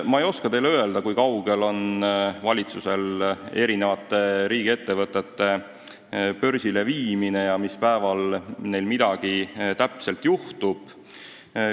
Ma ei oska teile öelda, kui kaugel on valitsus eri riigiettevõtete börsile viimisega ja mis päeval midagi juhtub.